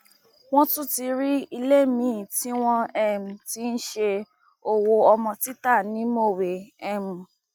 wọn tún ti rí ilé miín tí wọn um ti ń ṣe owó ọmọ títa ní mọwé um